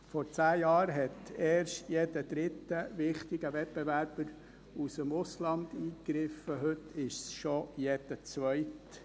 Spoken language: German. Vor zehn Jahren hat erst jeder dritte wichtige Wettbewerber aus dem Ausland eingegriffen, heute ist es schon jeder zweite.